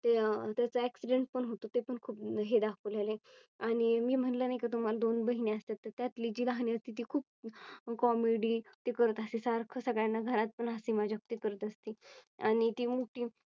ते त्याचा Accident पण होतो ते पण खूप हे दाखवलेले आणि मी म्हणलं नाही का तुम्हाला दोन बहिणी असतात त्यातली जी राहणी असते ती खूप Comedy ते करत असे. सारखं सगळ्यांना घरात पण ती हशी मजाक करत असती आणि ती मोठी